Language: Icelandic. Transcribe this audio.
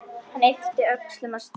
Hann ypptir öxlum og stynur.